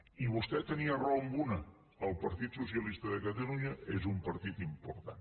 i vostè tenia raó en una el partit socialista de catalunya és un partit important